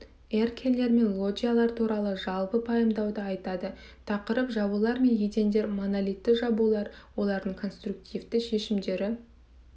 эркерлер мен лоджиялар туралы жалпы пайымдауды айтады тақырып жабулар мен едендер монолитті жабулар олардың конструктивті шешімдері